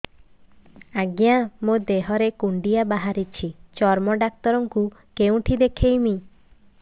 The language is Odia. ଆଜ୍ଞା ମୋ ଦେହ ରେ କୁଣ୍ଡିଆ ବାହାରିଛି ଚର୍ମ ଡାକ୍ତର ଙ୍କୁ କେଉଁଠି ଦେଖେଇମି